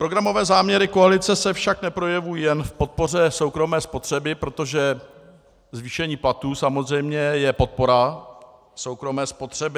Programové záměry koalice se však neprojevují jen v podpoře soukromé spotřeby, protože zvýšení platů samozřejmě je podpora soukromé spotřeby.